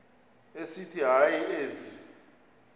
esithi hayi ezi